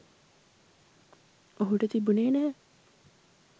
ඔහුට තිබුණේ නැහැ.